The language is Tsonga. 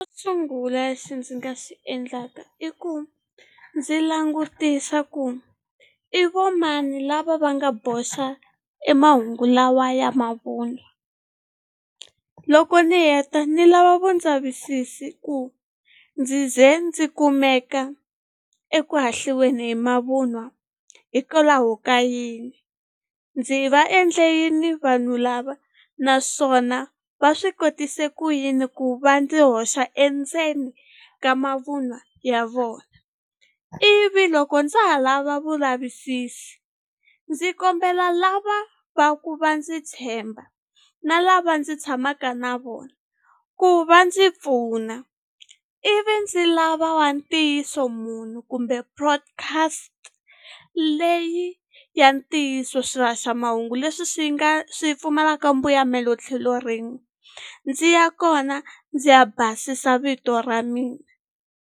sungula lexi ndzi nga xi endlaka i ku ndzi langutisa ku i vo mani lava va nga boxa e mahungu lawa ya mavunwa loko ni heta ni lava vundzavisisi hi ku ndzi ze ndzi kumeka eku hahliweni hi mavunwa hikwalaho ka yini ndzi va endle yini vanhu lava naswona va swi kotise ku yini ku va ndzi hoxa endzeni ka mavunwa ya vona ivi loko ndza ha lava vulavisisi ndzi kombela lava va ku va ndzi tshemba na lava ndzi tshamaka na vona ku va ndzi pfuna ivi ndzi lava wa ntiyiso munhu kumbe podcast leyi ya ntiyiso swihaxamahungu leswi swi nga swi pfumalaka mbuyamelo tlhelo rin'we ndzi ya kona ndzi ya basisa vito ra mina.